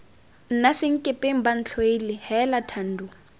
nna senkepeng bantlhoile heela thando